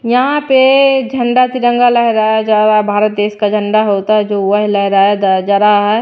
यहां पे झंडा तिरंगा लहराया जा रहा है भारत देश का झंडा होता है जो वह लहराया जा रहा है।